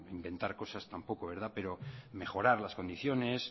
inventar cosas tampoco verdad pero mejorar las condiciones